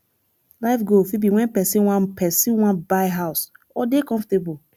life goal fit be when person wan person wan buy house or dey comfortable